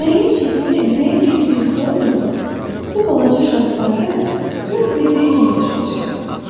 Nəyin ciddi, nəyin qeyri-ciddi olduğunu bu balaca şahzadə öz bildiyi kimi başa düşürdü.